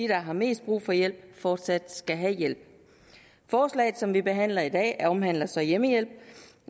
der har mest brug for hjælp fortsat skal have hjælp forslaget som vi behandler i dag omhandler så hjemmehjælp